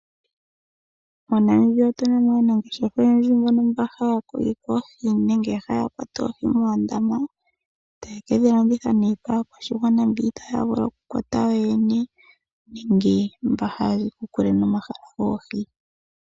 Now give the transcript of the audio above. MoNamibia otuno aanangeshefa oyendji mbono haya kokeke oohi nenge haya kwata oohi moondama taye kedhi landitha kaakwashigwana mboka ita ya vulu okukwata yoyene nenge mba haya vulu